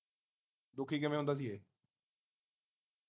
ਦੁਖੀ ਕਿਵੇਂ ਹੁੰਦਾ ਸੀ ਇਹ